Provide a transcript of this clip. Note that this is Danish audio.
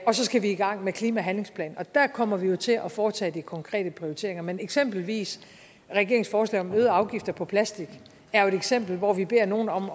så skal vi i gang med klimahandlingsplanen og der kommer vi jo til at foretage de konkrete prioriteringer men eksempelvis regeringens forslag om øgede afgifter på plastik er jo et eksempel hvor vi beder nogle om